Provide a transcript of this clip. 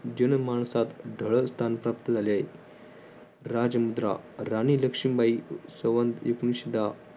स्थान प्राप्त झाले आहे. राजमुद्रा राणी लक्ष्मीबाई सण एकोणविशे दहा